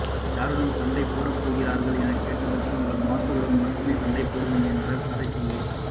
யாருடன் சண்டை போடப்போகிறீர்கள் எனக்கேட்டதற்கு உங்கள் மாஸ்டரோடு மட்டுமே சண்டையிடுவேன் என்றார் கதைசொல்லி